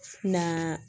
Na